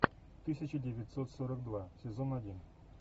тысяча девятьсот сорок два сезон один